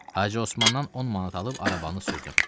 Hacı Osmandan 10 manat alıb arabanı sürdüm.